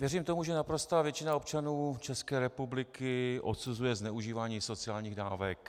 Věřím tomu, že naprostá většina občanů České republiky odsuzuje zneužívání sociálních dávek.